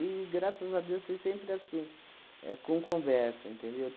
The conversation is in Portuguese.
graças a Deus, foi sempre assim, éh com conversa, entendeu?